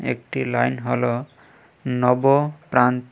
একটি লাইন হল নব প্রাণ।